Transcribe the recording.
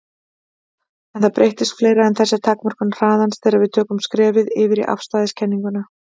En það breytist fleira en þessi takmörkun hraðans þegar við tökum skrefið yfir í afstæðiskenninguna.